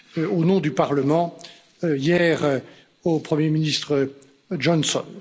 au nom du Parlement hier au premier ministre Johnson.